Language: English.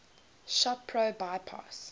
shop pro bypass